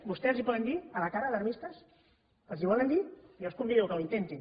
vostès els poden dir a la cara alarmistes els ho volen dir jo els convido que ho intentin